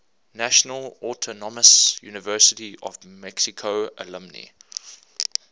national autonomous university of mexico alumni